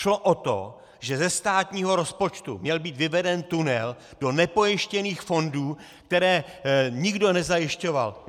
Šlo o to, že ze státního rozpočtu měl být vyveden tunel do nepojištěných fondů, které nikdo nezajišťoval.